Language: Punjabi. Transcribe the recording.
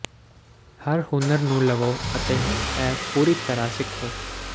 ਹਰ ਹੁਨਰ ਨੂੰ ਲਵੋ ਅਤੇ ਇਹ ਪੂਰੀ ਤਰ੍ਹਾਂ ਸਿੱਖੋ